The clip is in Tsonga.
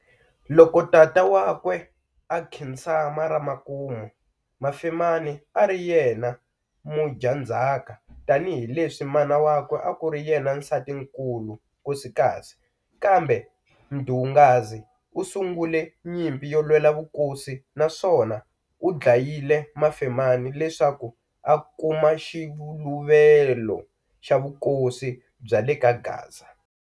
Loko tata wa kwe a khinsama ra makumu, Mafemani a ari yena mudyanzhaka tani hi leswi mana wakwe a kuri yena Nsatinkulu, Nkosikazi, kambe Mdungazi u sungele nyimpi yo lwela vukosi naswona u dlayile mafemani leswaku a kuma xiluvelo xa vukosi bya le kaGaza.